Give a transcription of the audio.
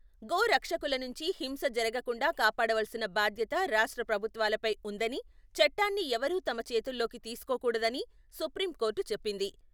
గోరక్షకుల నుంచి హింస జరగకుండా కాపాడవలసిన బాధ్యత రాష్ట్ర ప్రభుత్వాలపై ఉందనీ, చట్టాన్ని ఎవరూ తమ చేతుల్లోకి తీసుకోకూడదని, సుప్రీంకోర్టు చెప్పింది.